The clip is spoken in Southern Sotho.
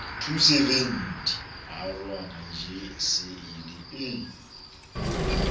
arohana tjeee se e le